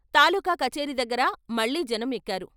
తాలూకా కచేరీదగ్గర మళ్ళీ జనం ఎక్కారు.